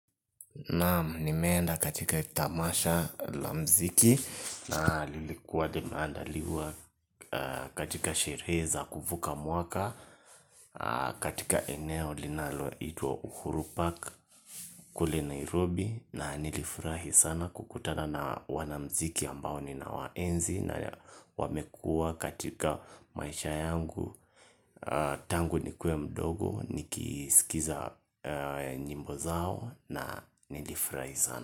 Naam nimeenda katika tamasha la mziki naa lilikuwa limeandaliwa katika sherehe za kuvuka mwaka katika eneo linalo itwa uhurupark kule Nairobi na nilifurahi sana kukutana na wanamziki ambao ninawaenzi na wamekua katika maisha yangu tangu nikuwe mdogo nikiskiza nyimbo zao na nilifurahi sana.